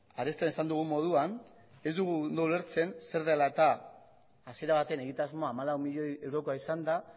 arestian esan dugun moduan ez dugu ondo ulertzen zer dela hasiera batean egitasmoa hamalau milioi eurokoa izanda